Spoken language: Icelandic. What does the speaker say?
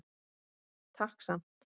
Takk samt.